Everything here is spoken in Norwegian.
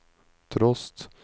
trost